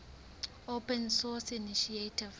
open source initiative